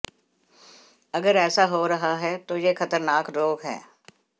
अगर ऐसा हो रहा है तो यह खतरनाक रोग है